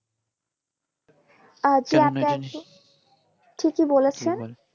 ঠিকই বলেছেন